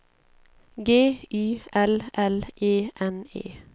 G Y L L E N E